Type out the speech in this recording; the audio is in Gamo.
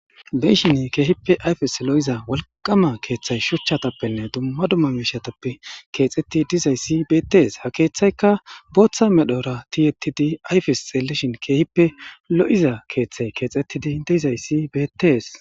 Be'ishshinn kehippe ayifes lo'izza woliqama keththayi shuchchatappenne dumma dumma mishattappe kexetti dizayiss betees.haa keththayikka boththa medhdhora tiyetidi ayifes xeelishshin kehippe lo'iza keththeyi kexxettidi de'izayissi betees.